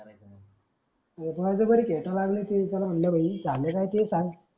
अरे बळजबरी खेटाय लागल ते त्याला म्हणलं भाई काय झालं ते सांग.